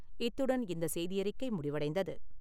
இத்துடன் இந்த செய்தியறிக்கை முடிவடைந்தது.